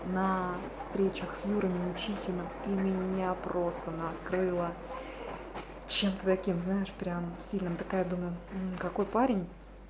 на встречах с юра менячихин и меня просто накрыло чем ты таким знаешь прям сильно такая думаю какой парень